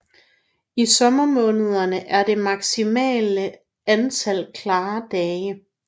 I sommermånederne er det maksimale antal klare dage